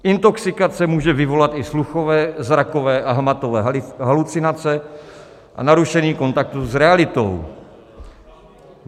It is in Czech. Intoxikace může vyvolat i sluchové, zrakové a hmatové halucinace a narušení kontaktu s realitou.